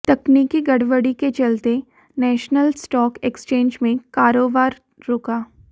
तकनीकी गड़बड़ी के चलते नेशनल स्टॉक एक्सचेंज में कारोबार रुका